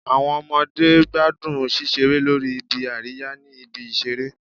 Awọn ọmọde gbadun ṣiṣere lori ibi-ariya ni ibi-iṣere